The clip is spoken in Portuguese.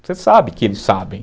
Você sabe que eles sabem.